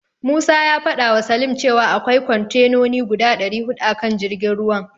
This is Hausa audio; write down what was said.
Musa ya fadawa Salim cewa akwai kontenoni guda dari hudu a kan jirgin ruwan.